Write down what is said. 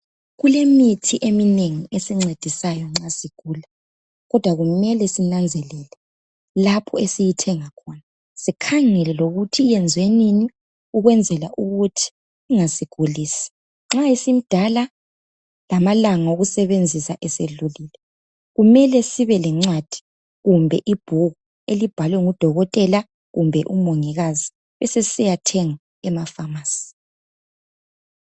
Kulemithi eminengi esincedisayo nxa sigula .Kodwa kumele sinanzelele lapho esiyithenga khona .Sikhangele lokuthi iyenziwe nini ukwenzela ukuthi ingasigulisi . Nxa isimdala lamalanga okusebenzisa esedlulile kumele sibe lencwadi kumbe ibhuku elibhalwe ngudokotela kumbe umongikazi besesisiya thenga emapharmacy.